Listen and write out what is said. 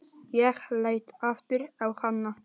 Ég leit aftur á hana.